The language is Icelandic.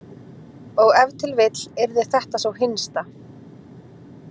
Og ef til vill yrði þetta sú hinsta.